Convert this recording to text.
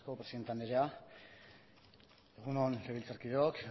eskerrik asko presidente andrea egun on legebiltzarkideok